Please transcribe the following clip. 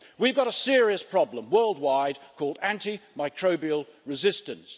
We've got a serious problem worldwide called anti microbial resistance.